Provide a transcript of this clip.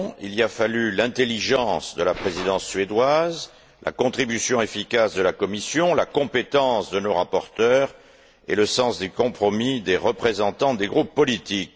Il a fallu l'intelligence de la Présidence suédoise, la contribution efficace de la Commission, la compétence de nos rapporteurs et le sens des compromis des représentants des groupes politiques.